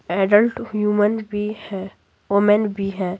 Adult human भी है woman भी है।